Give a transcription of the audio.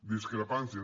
discrepàncies